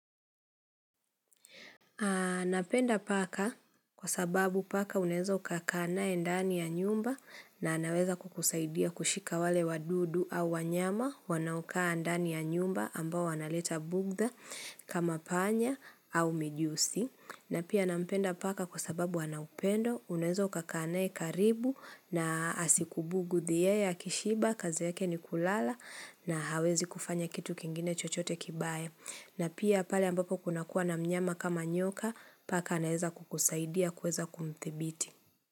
Napenda paka kwa sababu paka unaeza ukakaa naye ndani ya nyumba na anaweza kukusaidia kushika wale wadudu au wanyama wanaokaa ndani ya nyumba ambao wanaleta bughdha kama panya au mijusi. Na pia nampenda paka kwa sababu wanaupendo unaweza ukakaa naye karibu na asikubughudhi yeye akishiba kazi yake ni kulala na hawezi kufanya kitu kingine chochote kibaya. Na pia pale ambapo kuna kuwa na mnyama kama nyoka, paka anaeza kukusaidia kuweza kumdhibiti.